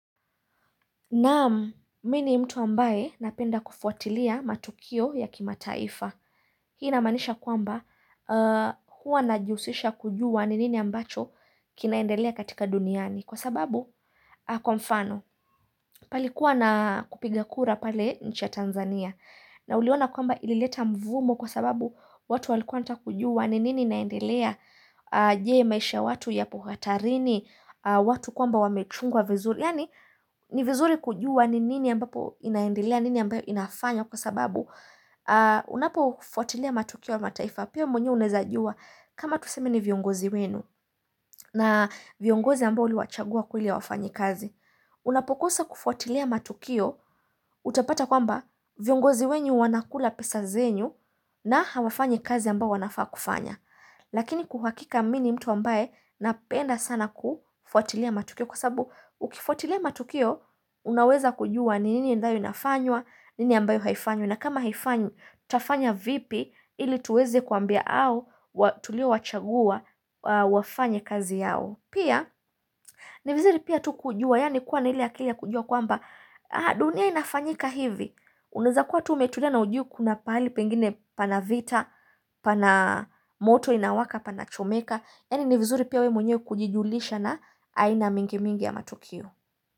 Naam, mi ni mtu ambaye napenda kufuatilia matukio ya kimataifa. Hii inamaanisha kwamba huwa na jihusisha kujua ni nini ambacho kinaendelea katika duniani. Kwa sababu, kwa mfano, palikuwa na kupiga kura pale nchi ya Tanzania. Na uliona kwamba ilileta mvumo kwa sababu watu walikuwa wanataka kujua ni nini inaendelea je maisha watu yapo hatarini watu kwamba wamechungwa vizuri. Yani, ni vizuri kujua ni nini ambapo inaendilia, nini ambayo inafanywa kwa sababu Unapo ufuatilia matukio wa mataifa, pia mwenyewe unaeza jua kama tuseme ni viongozi wenu na viongozi ambao uliwachagua kweli hawafanyi kazi Unapokosa kufuatilia matukio, utapata kwamba viongozi wenyu wanakula pesa zenyu na hawafanyi kazi ambayo wanafaa kufanya Lakini kuhakika mi ni mtu ambaye napenda sana kufuatilia matukio kwa sababu ukifuatilia matukio unaweza kujua ni nini ambayo inafanywa, nini ambayo haifanywi na kama haifanywi, tafanya vipi ili tuweze kuambia au, tulio wachagua wafanye kazi yao pia, ni vizuri pia tu kujua, yani kuwa na ile akili ya kujua kwamba dunia inafanyika hivi, unaeza kuwa tu umetulia na ujui kuna pahali pengine pana vita pana moto inawaka pana chomeka yani ni vizuri pia we mwenyewe kujijulisha na aina mingi mingi ya matukio.